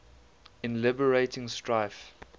in liberating strife